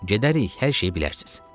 Gedərik, hər şeyi bilərsiz.